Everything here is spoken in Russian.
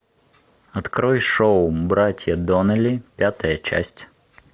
открой шоу братья доннелли пятая часть